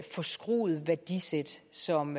forskruede værdisæt som